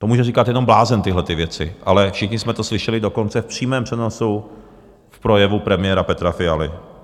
To může říkat jenom blázen, tyhle věci, ale všichni jsme to slyšeli dokonce v přímém přenosu v projevu premiéra Petra Fialy.